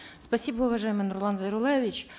спасибо уважаемый нурлан зайроллаевич